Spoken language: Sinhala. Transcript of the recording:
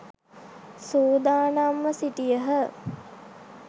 සූදානම්ව සිටියහ.